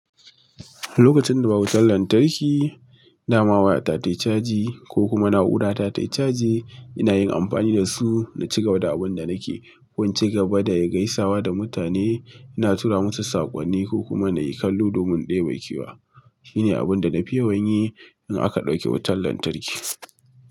Lokacin da babu wutar lantarki, dama waya ta tayi caji ko kuma na’ura ta tayi caji, ina yin amfani da su na ci gaba da abun da nake yi. Ko inci gaba da gaisawa da mutane ina tura musu sakonni ko kuma nayi kallon domin deba kewa shine abin da nafi yawan yi idan aka dauke wutar latarki.